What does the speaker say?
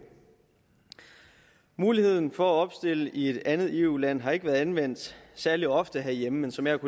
muligheden for at opstille i et andet eu land har ikke været anvendt særlig ofte herhjemme men som jeg